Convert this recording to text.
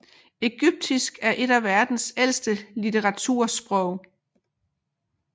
Egyptisk er et af verdens ældste litteratursprog